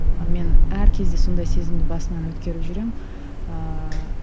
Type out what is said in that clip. ы мен әр кезде сондай сезімді басымнан өткеріп жүремін ыыы